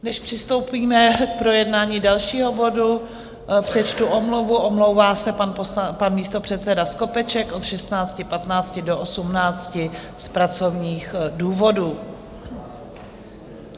Než přistoupíme k projednání dalšího bodu, přečtu omluvu: omlouvá se pan místopředseda Skopeček od 16.15 do 18 z pracovních důvodů.